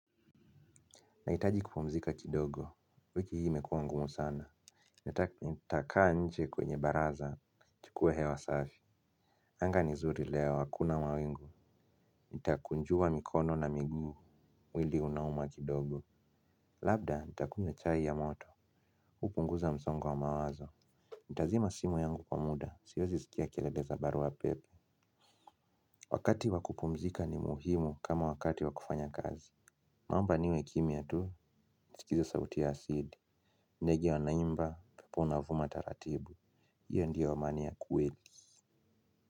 Nahitaji kupumzika kidogo, wiki hii imekuwa ngumu sana. Nitakaa nje kwenye baraza, chukue hewa safi. Anga nizuri leo, hakuna mawingu. Nitakunjua mikono na miguu, mwili unauma kidogo. Labda, nitakunywa chai ya moto, hupunguza msongo wa mawazo. Nitazima simu yangu kwa muda, siwezi sikia kelele za barua pepe. Wakati wa kupumzika ni muhimu kama wakati wa kufanya kazi. Mamba niwe kimya tu, nisikize sauti ya asili. Ndege wanaimba upepo unavuma taratibu. Iyo ndio amani ya kweli.